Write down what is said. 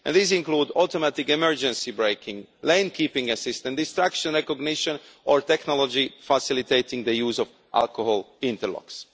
These include automatic emergency braking, lane keeping assist and distraction recognition or technology facilitating the use of alcohol interlocks.